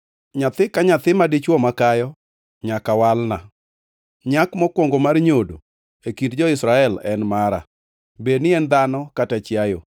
“Nyathi ka nyathi madichwo makayo nyaka walna. Nyak mokwongo mar nyodo e kind jo-Israel en mara, bed ni en dhano kata chiayo.”